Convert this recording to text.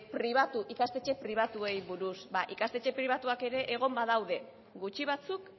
pribatu ikastetxe pribatuei buruz ba ikastetxe pribatuak ere egon badaude gutxi batzuk